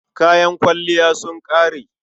Kayan kwalliyata sun ƙare.